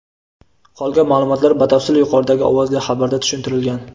Qolgan maʼlumotlar batafsil yuqoridagi ovozli xabarda tushuntirilgan.